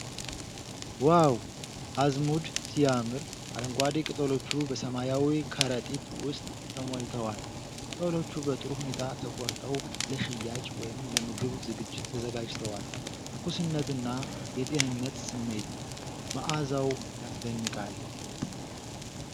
ዋው! አዝሙድ ሲያምር! አረንጓዴ ቅጠሎቹ በሰማያዊ ከረጢት ውስጥ ተሞልተዋል። ቅጠሎቹ በጥሩ ሁኔታ ተቆርጠው ለሽያጭ ወይም ለምግብ ዝግጅት ተዘጋጅተዋል። ትኩስነትና የጤንነት ስሜት። መዓዛው ያስደንቃል።